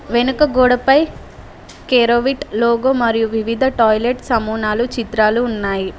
వెనక గోడపై కేరోవిట్ లోగో మరియు వివిధ టాయిలెట్ సమూనాలు చిత్రాలు ఉన్నాయి.